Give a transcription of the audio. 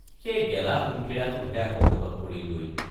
সেই গেলা সুমথিৰাটোতহে আকৌ হাতত পৰিলগৈ।